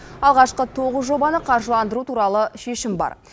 алғашқы тоғыз жобаны қаржыландыру туралы шешім бар